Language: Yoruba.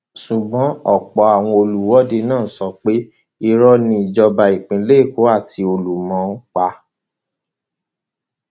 ṣùgbọn ọpọ àwọn olùwọde náà sọ pé irọ ni ìjọba ìpínlẹ èkó àti olúmọn ń pa